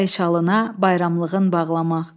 bəy şalına bayramlığın bağlamaq.